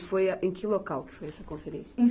E foi a em que local que foi essa conferência? Em